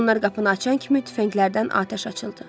Onlar qapını açan kimi tüfənglərdən atəş açıldı.